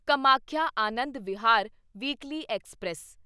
Kamakhya Anand Vihar weekly express